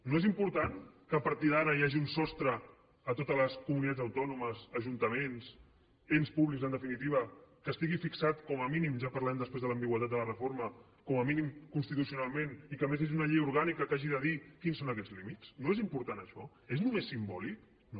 no és important que a partir d’ara hi hagi un sostre a totes les comunitats autònomes ajuntaments ens públics en definitiva que estigui fixat com a mínim ja parlarem després de l’ambigüitat de la reforma com a mínim constitucionalment i que a més hi hagi una llei orgànica que hagi de dir quins són aquests límits no és important això és només simbòlic no